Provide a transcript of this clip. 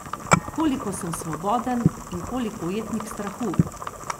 Koliko sem svoboden in koliko ujetnik strahu?